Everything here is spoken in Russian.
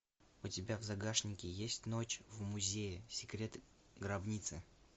у тебя в загашнике есть ночь в музее секрет гробницы